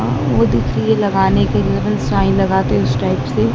आ वो दिख रही है लगाने के लिए साइन लगाते उसे टाइप से--